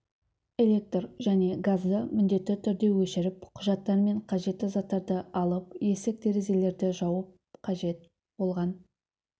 электр және газды міндетті түрде өшіріп құжаттар мен қажетті заттарды алып есік-терезелерді жауып қажет болған